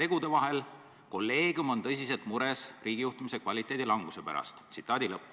Radari kolleegium on tõsiselt mures riigijuhtimise kvaliteedi languse pärast.